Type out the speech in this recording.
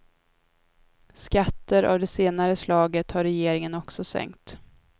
Skatter av det senare slaget har regeringen också sänkt.